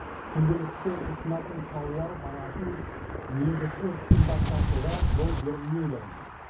күнделікті тұтынатын тауар бағасын негізсіз қымбаттатуға жол берілмейді